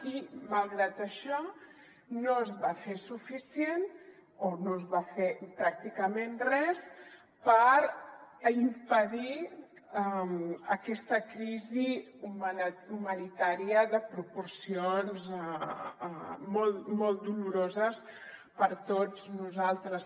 i malgrat això no es va fer suficient o no es va fer pràcticament res per impedir aquesta crisi humanitària de proporcions molt doloroses per a tots nosaltres